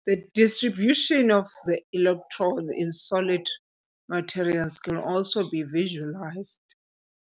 The distribution of the electrons in solid materials can also be visualized.